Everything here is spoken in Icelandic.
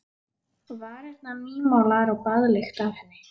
Varirnar nýmálaðar og baðlykt af henni.